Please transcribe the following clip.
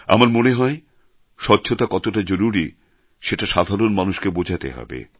আমার মনে হয় স্বচ্ছতা কতটা জরুরি সেটা সাধারণ মানুষকে বোঝাতে হবে